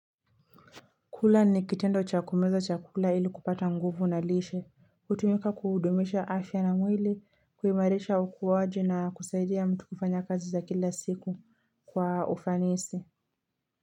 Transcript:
Kula ni kitendo cha kumeza chakula ili kupata nguvu na lishe. Hutumika kuhudumisha afya na mwili, kuimarisha ukuwaji na kusaidia mtu kufanya kazi za kila siku kwa ufanisi.